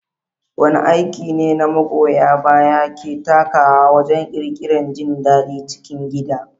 Wane aiki ne magoya baya ke takawa wajen ƙirƙirar jin daɗin cikin gida?